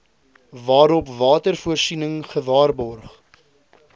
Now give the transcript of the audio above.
waarop watervoorsiening gewaarborg